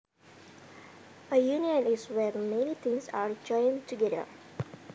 A union is when many things are joined together